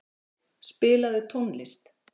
Hildir, spilaðu tónlist.